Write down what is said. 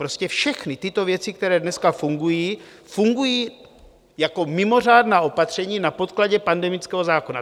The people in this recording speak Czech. Prostě všechny tyto věci, které dneska fungují, fungují jako mimořádná opatření na podkladě pandemického zákona.